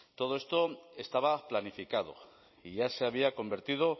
todo esto estaba planificado y ya se había convertido